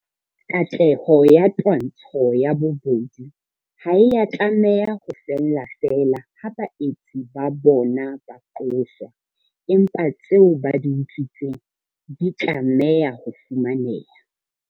Katleho ya twantsho ya bobodu ha e a tlameha ho fella feela ha baetsi ba bona ba qoswa, empa tseo ba di utswitseng di tla tlameha ho fumaneha.